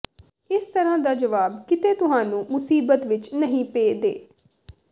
ਇਸ ਤਰ੍ਹਾਂ ਦਾ ਜਵਾਬ ਕਿਤੇ ਤੁਹਾਨੂੰ ਮੁਸੀਬਤ ਵਿੱਚ ਨਹੀਂ ਪੇ ਦੇ